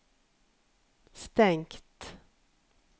stengt